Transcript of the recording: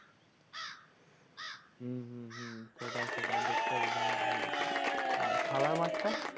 হম হম সেটাই সেটাই দেখতে হবে দারুন ভাল লাগবে আর খেলার মাঠটা?